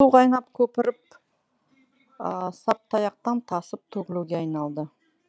су қайнап көпіріп саптыаяқтан тасып төгілуге айналды